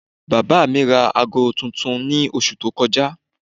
Bàbá mi ra aago tuntun ní oṣù tó kọjá